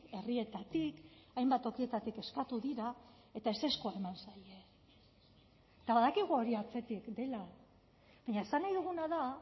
herrietatik hainbat tokietatik eskatu dira eta ezezkoa eman zaie eta badakigu hori atzetik dela baina esan nahi duguna da